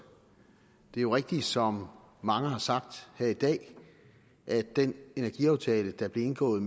det er jo rigtigt som mange har sagt her i dag at den energiaftale der blev indgået